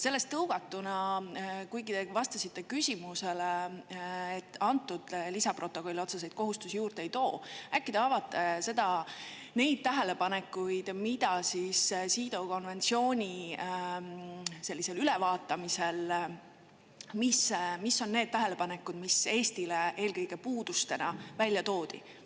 Sellest tõugatuna: kuigi te vastasite küsimusele, et antud lisaprotokoll otseseid kohustusi juurde ei too, äkki te avate neid tähelepanekuid, mida CEDAW konventsiooni sellisel ülevaatamisel Eestile eelkõige puudustena välja toodi?